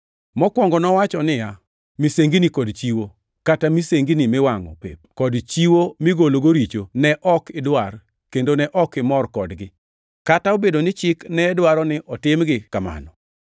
Mokwongo nowacho niya, “Misengini kod chiwo, kata misengini miwangʼo pep kod chiwo migologo richo ne ok idwar kendo ne ok imor kodgi.” Kata obedo ni chik ne dwaro ni otimgi kamano.